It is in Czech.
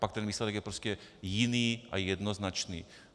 Pak ten výsledek je prostě jiný a jednoznačný.